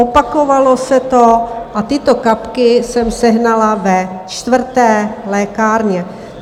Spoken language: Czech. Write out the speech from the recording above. Opakovalo se to a tyto kapky jsem sehnala ve čtvrté lékárně.